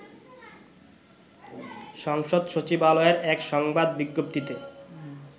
সংসদ সচিবালয়ের এক সংবাদ বিজ্ঞপ্তিতে